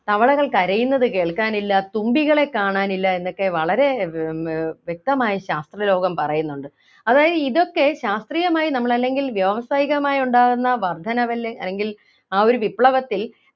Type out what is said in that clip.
തവളകൾ കരയുന്നത് കേൾക്കാനില്ല തുമ്പികളെ കാണാനില്ല എന്നൊക്കെ വളരെ ഏർ ഏർ വ്യക്തമായ ശാസ്ത്രലോകം പറയുന്നുണ്ട് അതായത് ഇതൊക്കെ ശാസ്ത്രീയമായ നമ്മൾ അല്ലെങ്കിൽ വ്യാവസായികമായി ഉണ്ടാകുന്ന വർദ്ധനവല്ലേ അല്ലെങ്കിൽ ആ ഒരു വിപ്ലവത്തിൽ